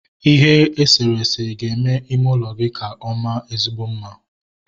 Ihe eserese ga-eme ime ụlọ gị ka ọ maa ezigbo mma